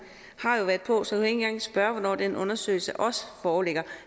har jo været på så engang spørge hvornår den undersøgelse også foreligger